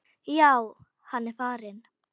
Já, hann er farinn